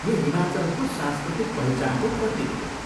यो हिमाचलको सांस्कृतिक पहिचानको प्रतीक हो।